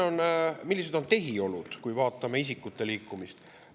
Millised on tehiolud, kui vaatame isikute liikumist.